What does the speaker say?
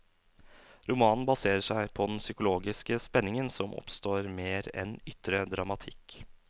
Romanen baserer seg på den psykologiske spenningen som oppstår mer enn ytre dramatikk.